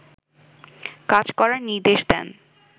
কাজ করার নির্দেশ দেন